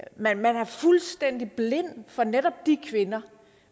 man er fuldstændig blind for netop de kvinder